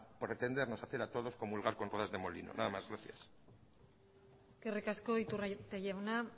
pretendernos hacer a todos comulgar con ruedas de molino nada más gracias eskerrik asko iturrate jauna